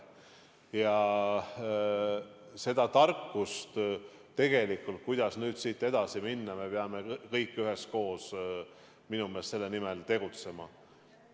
Ja seda tarkust, kuidas nüüd siit edasi minna – me peame tegelikult kõik üheskoos selle nimel tegutsema.